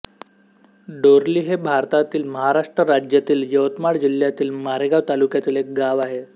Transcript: डोरली हे भारतातील महाराष्ट्र राज्यातील यवतमाळ जिल्ह्यातील मारेगांव तालुक्यातील एक गाव आहे